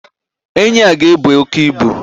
Enyi a ga-ebu oke ibu.